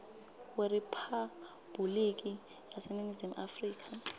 weriphabhuliki yaseningizimu afrika